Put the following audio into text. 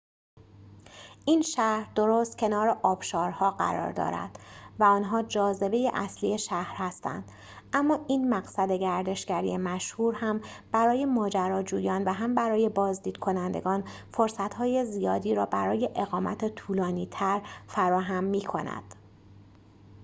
این شهر درست کنار آبشارها قرار دارد و آنها جاذبه اصلی شهر هستند اما این مقصد گردشگری مشهور هم برای ماجراجویان و هم برای بازدیدکنندگان فرصت‌های زیادی را برای اقامت طولانی‌تر فراهم می‌کند